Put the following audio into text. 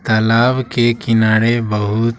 तालाब के किनारे बहुत--